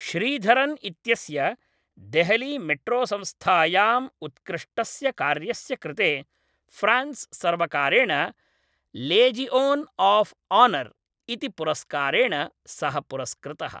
श्रीधरन् इत्यस्य देहलीमेट्रोसंस्थायाम् उत्कृष्टस्य कार्यस्य कृते फ्रान्स् सर्वकारेण लेजिओन् आफ़् आनर् इति पुरस्कारेण सः पुरस्कृतः।